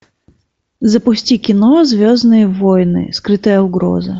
запусти кино звездные войны скрытая угроза